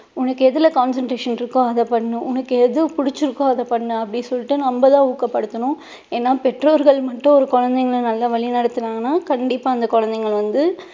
உனக்கு எதுல concentration இருக்கோ அதை பண்ணு உனக்கு எது புடிச்சுருக்கோ அதை பண்ணு அப்படி சொல்லிட்டு நம்ம தான் ஊக்கப்படுத்தணும் ஏன்னா பெற்றோர்கள் மட்டும் ஒரு குழந்தைங்களை நல்லா வழி நடத்துனாங்கன்னா கண்டிப்பா அந்த குழந்தைகள் வந்து